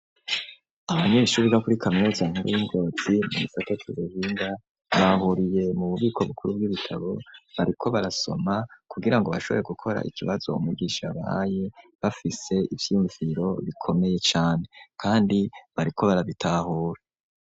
Abanyeshuri bo kuri kaminuza nkuru yi Ngozi nimifata tururinda bahuriye mu bubiko bukuru bw'ibitabo bariko barasoma kugira ngo bashoboye gukora ikibazo u mugisha bahaye bafise ivyumviro bikomeye cane kandi bariko barabitahura.